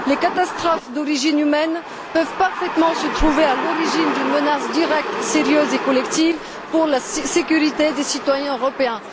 Les catastrophes d'origine humaine peuvent parfaitement se trouver à l'origine d'une menace directe, sérieuse et collective, pour la sécurité des citoyens européens.